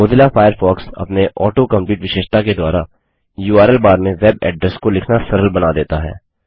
Mozilla Firefox अपने auto complete विशेषता के द्वारा उर्ल बार में वेब एड्रेसेस को लिखना सरल बना देता है